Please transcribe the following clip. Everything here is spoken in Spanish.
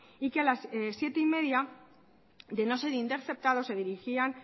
y que a las siete treinta de no ser interceptados se dirigirían